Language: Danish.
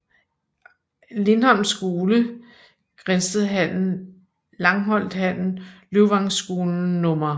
Lindholm Skole Grindstedhallen Langholthallen Løvvangskolen Nr